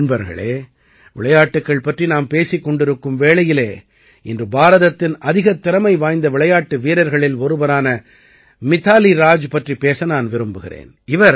நண்பர்களே விளையாட்டுக்கள் பற்றி நாம் பேசிக் கொண்டிருக்கும் வேளையில் இன்று பாரதத்தின் அதிகத் திறமை வாய்ந்த விளையாட்டு வீரர்களில் ஒருவரான மிதாலீ ராஜ் பற்றிப் பேச நான் விரும்புகிறேன்